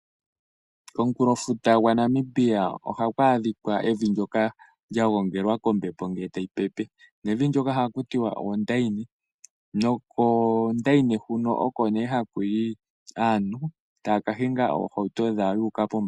Komukulo futa gwaNamibia ohakwaadhika evi lyoka lyagongelwa kombepo ngee tayipepe. Nevi lyoka ohatiwa oondayini, nokoondani huno oko nee hakuyi aantu taakahinga oohauto dhawo yuuka po.